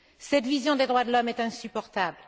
Cette vision des droits de l'homme est insupportable.